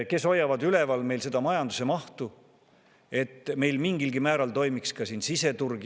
Kes hoiavad üleval meil seda majanduse mahtu, et meil mingilgi määral toimiks ka siseturg?